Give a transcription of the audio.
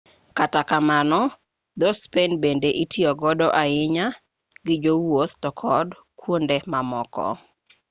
kata kamano dho-spain bende itiyo godo ahinya gi jowuoth to kod kuonde mamoko